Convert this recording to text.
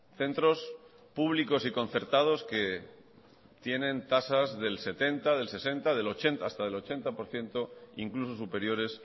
centros públicos y concertados que tienen tasas del setenta del sesenta hasta del ochenta por ciento incluso superiores